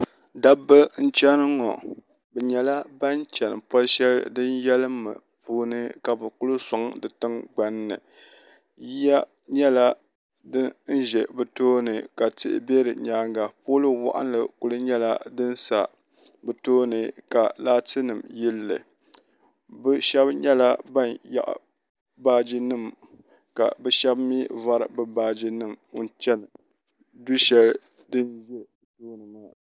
dabba n-chani ŋɔ bɛ nyɛla ban chani poli shɛli din yalim mi puuni ka kuli sɔŋ di tiŋgbani yiya nyɛla din n-ʒe bɛ tooni ka tihi be di nyaaga pooli waɣinli kuli nyɛla din sa bɛ tooni ka laatinima yeli li bɛ shɛba nyɛla ban nyaɣi baaji nima ka bɛ shɛba mi vari bɛ baaji nima n-chani duu shɛli din nyɔ bɛ tooni maa.